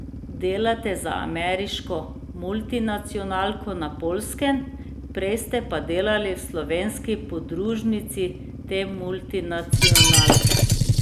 Delate za ameriško multinacionalko na Poljskem, prej ste pa delali v slovenski podružnici te multinacionalke.